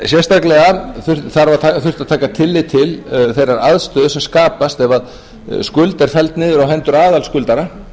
sérstaklega þurfti að taka tillit til þeirrar aðstöðu sem skapast ef skuld er felld niður á hendur aðalskuldara